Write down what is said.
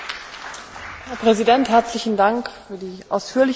Herr Präsident, herzlichen Dank für die ausführliche Antwort.